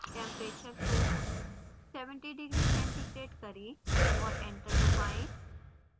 temperature को 70 degc करें और enter दबाएँ